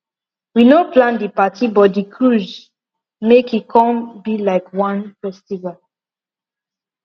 we no plan di parti but di cruise make e come be like one festival